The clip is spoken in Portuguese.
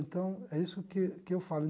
Então, é isso que que eu falo.